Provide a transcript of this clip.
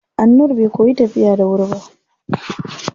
Annur bai koyi tafiya da wuri ba.